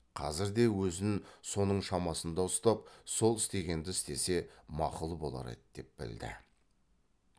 қазірде өзін соның шамасында ұстап сол істегенді істесе мақұл болар еді деп білді